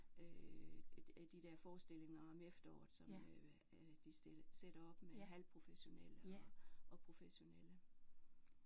Øh de der forestillinger om efteråret som øh de sætter op med halvprofessionelle og og professionelle